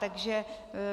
Takže